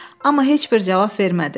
Amma heç bir cavab vermədi.